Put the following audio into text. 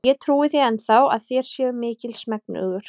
Og ég trúi því enn þá, að þér séuð mikils megnugur.